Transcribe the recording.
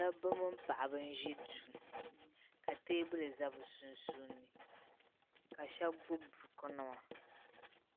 Dabba mini paɣ'ba n ʒi duu ka teebuli za bɛ sunsuuni ka shɛba gbubi bukunima